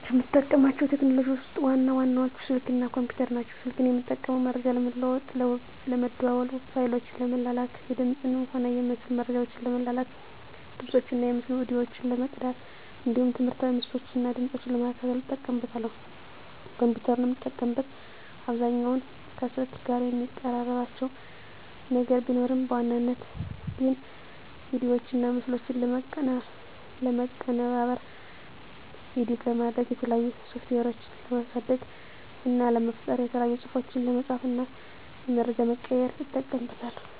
ከምጠቀማቸው ቴክኖሎጂዎችን ውስጥ ዋና ዋናዎቹ ስልክ እና ኮምፒተር ናቸው። ስልክን የምጠቀመው መረጃ ለመለዋዎጥ ለመደዋዎል፣ ፋይሎችን ለመላላክ፣ የድምፅንም ሆነ የምስል መረጃዎችን ለመላላክ፣ ድምፆችን እና የምስል ቪዲዮዎችን ለመቅዳት እንዲሁም ትምህርታዊ ምስሎችን እና ድምጾችን ለመከታተል እጠቀምበታለሁ። ኮምፒተርን የምጠቀምበት አብዛኛውን ከስልክ ጋር የሚቀራርባቸው ነገር ቢኖርም በዋናነት ግን ቪዲዮዎችና ምስሎችን ለማቀነባበር (ኤዲት) ለማድረግ፣ የተለያዩ ሶፍትዌሮችን ለማሳደግ እና ለመፍጠር፣ የተለያዩ ፅሁፎችን ለመፃፍ እና መረጃ ለመቀያየር ... እጠቀምበታለሁ።